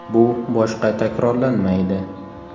Bu boshqa takrorlanmaydi.